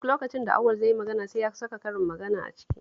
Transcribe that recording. Duk lokacin da Auwal zai yi magana sai ya saka karin magana a ciki